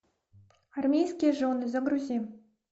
армейские жены загрузи